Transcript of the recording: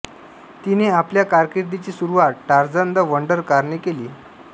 तिने आपल्या कारकीर्दीची सुरुवात टारझन द वंडर कार ने केली